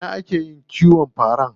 A ina ake yin kiwon fara?